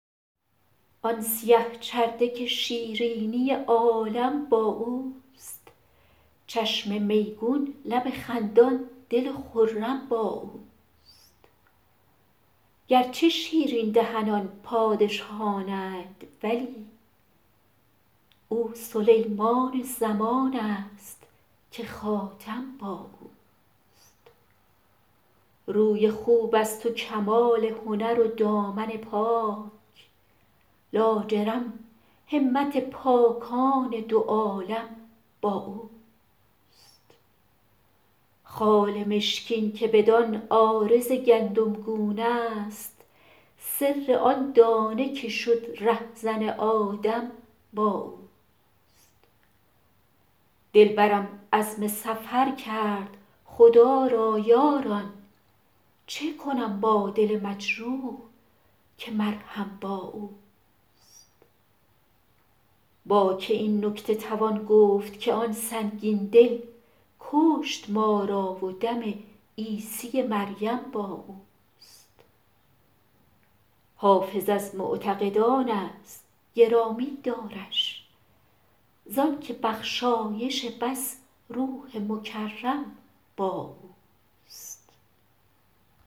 آن سیه چرده که شیرینی عالم با اوست چشم میگون لب خندان دل خرم با اوست گرچه شیرین دهنان پادشهان اند ولی او سلیمان زمان است که خاتم با اوست روی خوب است و کمال هنر و دامن پاک لاجرم همت پاکان دو عالم با اوست خال مشکین که بدان عارض گندمگون است سر آن دانه که شد رهزن آدم با اوست دلبرم عزم سفر کرد خدا را یاران چه کنم با دل مجروح که مرهم با اوست با که این نکته توان گفت که آن سنگین دل کشت ما را و دم عیسی مریم با اوست حافظ از معتقدان است گرامی دارش زان که بخشایش بس روح مکرم با اوست